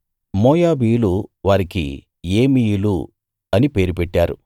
మోయాబీయులు వారికి ఏమీయులు పేరు పెట్టారు